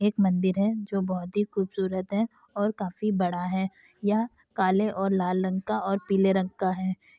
एक मंदिर है जो बहुत ही खूबसूरत है और काफी बड़ा है। यह काले और लाल रंग और पीले रंग का है।